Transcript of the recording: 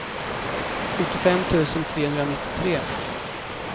sjuttiofem tusen trehundranittiotre